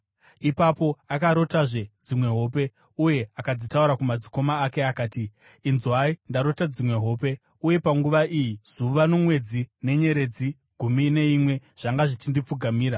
Ipapo akarotazve dzimwe hope, uye akadzitaura kumadzikoma ake. Akati, “Inzwai, ndarota dzimwe hope, uye panguva iyi zuva nomwedzi nenyeredzi gumi neimwe zvanga zvichindipfugamira.”